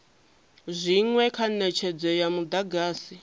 zwinwe kha netshedzo ya mudagasi